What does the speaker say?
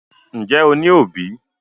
Ǹjẹ́ o ní òbí?